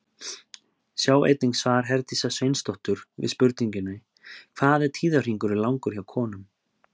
Sjá einnig svar Herdísar Sveinsdóttur við spurningunni Hvað er tíðahringurinn langur hjá konum?